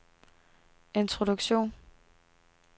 introduktion